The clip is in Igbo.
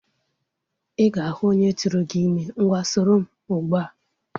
Ị ga-ahu onye turu gi ime. Ngwa soro m ugbu a!